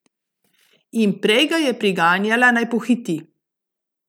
In prej ga je priganjala, naj pohiti.